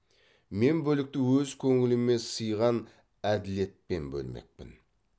мен бөлікті өз көңіліме сыйған әділетпен бөлмекпін